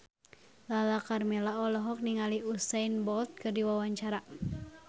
Lala Karmela olohok ningali Usain Bolt keur diwawancara